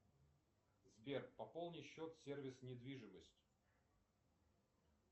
сбер пополни счет сервис недвижимость